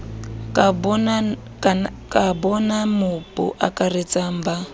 ka bonamo bo akaratsang ba